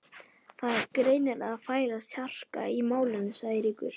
Það er greinilega að færast harka í málin sagði Eiríkur.